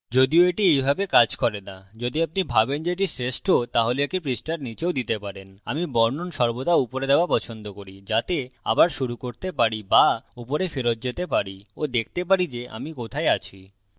যদিও এটি এইভাবে কাজ করে না যদি আপনি ভাবেন যে এটি শ্রেষ্ট তাহলে একে পৃষ্ঠার নীচেও দিতে পারেন আমি বর্ণন সর্বদা উপরে দেওয়া পছন্দ করি যাতে আবার শুরু করতে পারি বা ওপরে ফেরত যেতে পারি of দেখতে পারি যে আমি কোথায় আছি